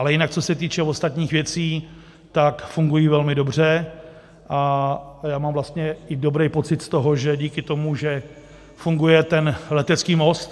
Ale jinak co se týče ostatních věcí, tak fungují velmi dobře a já mám vlastně i dobrý pocit z toho, že díky tomu, že funguje ten letecký most -